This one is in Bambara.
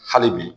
Hali bi